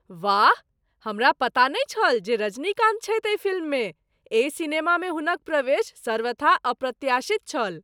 वाह! हमरा पता नहि छल जे रजनीकान्त छथि एहि फिल्ममे । एहि सिनेमामे हुनक प्रवेश सर्वथा अप्रत्याशित छल।